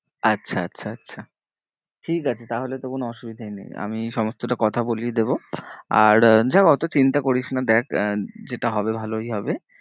আচ্ছা আচ্ছা আচ্ছা ঠিক আছে তাহলে তো কোনো অসুবিধাই নেই আমি সমস্তটা কথা বলিয়ে দেবো। আর যাক অত চিন্তা করিস না দেখ আহ যেটা হবে ভালোই হবে।